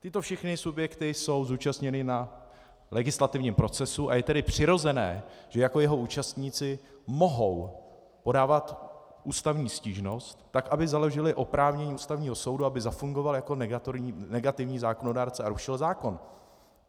Tyto všechny subjekty jsou zúčastněny na legislativním procesu, a je tedy přirozené, že jako jeho účastníci mohou podávat ústavní stížnost, tak aby založily oprávnění Ústavního soudu, aby zafungovaly jako negativní zákonodárce, a rušil zákon.